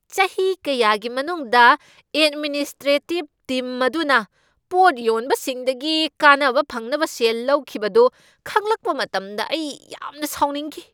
ꯆꯍꯤ ꯀꯌꯥꯒꯤ ꯃꯅꯨꯡꯗ ꯑꯦꯗꯃꯤꯅꯤꯁꯇ꯭ꯔꯣꯇꯤꯕ ꯇꯤꯝ ꯑꯗꯨꯅ ꯄꯣꯠ ꯌꯣꯟꯕꯁꯤꯡꯗꯒꯤ ꯀꯥꯟꯅꯕ ꯐꯪꯅꯕ ꯁꯦꯜ ꯂꯧꯈꯤꯕꯗꯨ ꯈꯪꯂꯛꯄ ꯃꯇꯝꯗ ꯑꯩ ꯌꯥꯝꯅ ꯁꯥꯎꯅꯤꯡꯈꯤ꯫